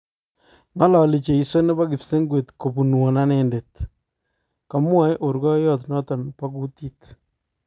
Ngalali cheiso nebo kipsengwet kopunwo anendet. Kamwae orkoiyot notok pa kutit